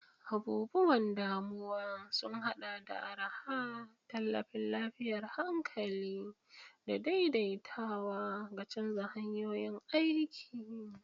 Abubuwan damuwa sun haɗa da araha, tallafin lafiyar hankali, da daidaitawa ga canza hanyoyin aiki.